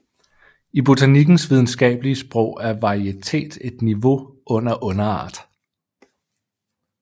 I botanikkens videnskabelige sprog er varietet et niveau under underart